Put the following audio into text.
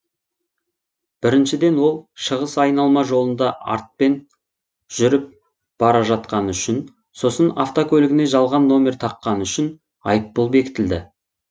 біріншіден ол шығыс айналма жолында артпен жүріп бара жатқаны үшін сосын автокөлігіне жалған номер таққаны үшін айыппұл бекітілді